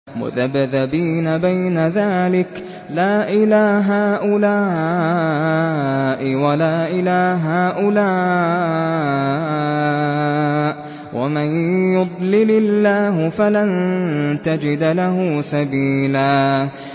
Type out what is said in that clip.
مُّذَبْذَبِينَ بَيْنَ ذَٰلِكَ لَا إِلَىٰ هَٰؤُلَاءِ وَلَا إِلَىٰ هَٰؤُلَاءِ ۚ وَمَن يُضْلِلِ اللَّهُ فَلَن تَجِدَ لَهُ سَبِيلًا